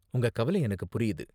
உங்க கவலை எனக்கு புரியுது.